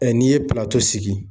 n'i ye sigi.